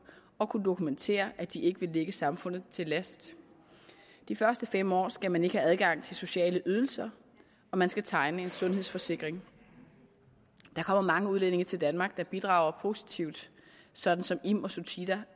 og kunne dokumentere at de ikke vil ligge samfundet til last de første fem år skal man ikke have adgang til sociale ydelser og man skal tegne en sundhedsforsikring der kommer mange udlændinge til danmark der bidrager positivt sådan som im og suthida